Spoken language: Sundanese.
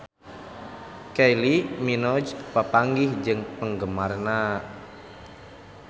Kylie Minogue papanggih jeung penggemarna